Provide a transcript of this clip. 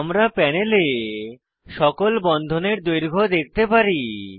আমরা প্যানেলে সকল বন্ধনের দৈর্ঘ্য দেখতে পারি